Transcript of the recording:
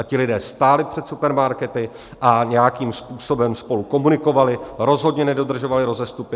A ti lidé stáli před supermarkety a nějakým způsobem spolu komunikovali, rozhodně nedodržovali rozestupy.